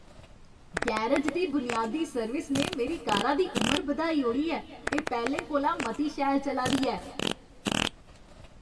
Garage दी बुनियादी service ने मेरी कारा दी उमर बधाई ओड़ी ऐ, एह् पैह्लें कोला मती शैल चला दी ऐ!